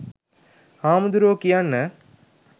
හාමුදුරුවෝ කියන්න